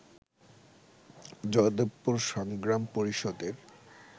জয়দেবপুর সংগ্রাম পরিষদের